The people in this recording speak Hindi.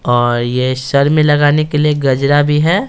और ये सर में लगाने के लिए गजरा भी है।